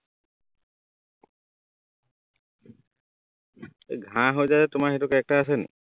এৰ ঘাঁহ সজায় তোমাৰ সেইটো character আছে নি